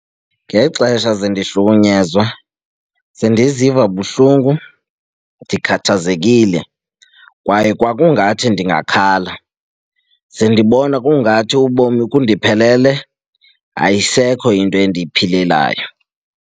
Ngexesha zendihlukunyezwe ze ndiziva buhlungu, ndikhathazekile. Kwaye kwakungathi ndingakhala sendibona kungathi ubomi bundiphelele, ayisekho into endiyiphilelayo.